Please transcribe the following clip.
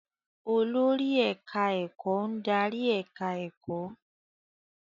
Olórí ẹ̀káá-ẹ̀kọ́ ń darí ẹ̀ká ẹ̀kọ́